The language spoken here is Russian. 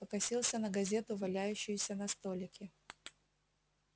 покосился на газету валяющуюся на столике